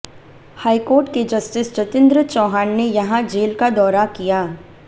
high court के justice Jatindra Chauhan ने यहां जेल का दौरा किया